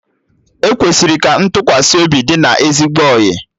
E kwesịrị ka ntụkwasị obi dị na ezigbo ọyị